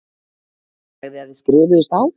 Sagði að þið skrifuðust á.